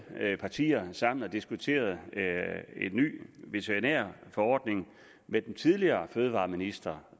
partier sammen og diskuterede en ny veterinærforordning med den tidligere fødevareminister